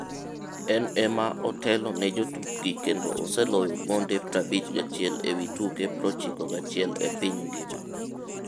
En ema otelo ne jotukgi kendo oseloyo gonde 51 ewi tuke 91 e piny ngima.